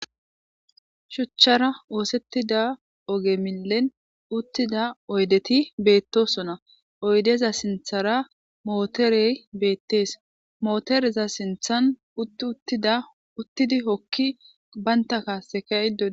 Shuchchara oosettida oge milen uttida oydeti beettosona oydeza sinthara mooterey beettees mootereza sinthan utt uttida uttidi hokki baynta kaasekaydod